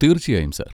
തീർച്ചയായും, സർ.